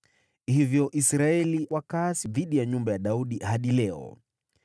Hivyo Israeli wakaasi dhidi ya nyumba ya Daudi hadi leo.